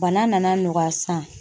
Bana nana nɔgɔya sisan